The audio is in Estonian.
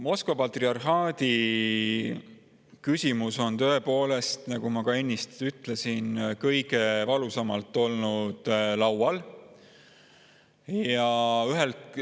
Moskva patriarhaadi küsimus on tõepoolest, nagu ma ennist ütlesin, kõige valusamalt laual olnud.